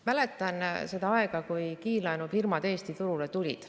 Mäletan seda aega, kui kiirlaenufirmad Eesti turule tulid.